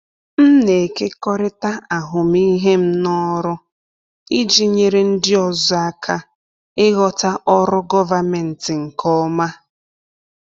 M na-ekekọrịta ahụmịhe m n’ọrụ iji nyere ndị ọzọ aka ịghọta ọrụ gọvanmentị nke ọma.